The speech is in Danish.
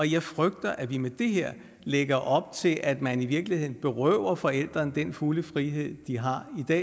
jeg frygter at vi med det her lægger op til at man i virkeligheden berøver forældrene den fulde frihed de har